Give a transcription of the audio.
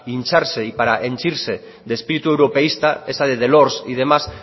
hincharse y para sentirse de espíritu europeísta esa de delors y demás